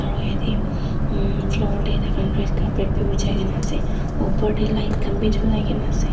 aro yete umm floor deh takhan red carpet bi bichai gina asey opor deh light khan bi julai gina asey.